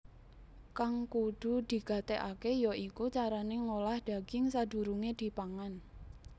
Kang kudu digatékaké ya iku carané ngolah daging sadurungé dipangan